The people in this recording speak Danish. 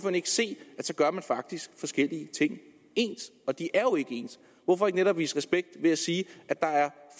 ikke se at så gør man faktisk forskellige ting ens og de er jo ikke ens hvorfor ikke netop vise respekt ved at sige at der er